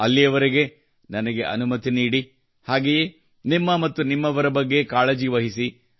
ಅಲ್ಲಿಯವರೆಗೆ ನನಗೆ ಅನುಮತಿ ನೀಡಿ ಹಾಗೆಯೇ ನಿಮ್ಮ ಹಾಗೂ ನಿಮ್ಮವರ ಬಗ್ಗೆ ಕಾಳಜಿ ವಹಿಸಿ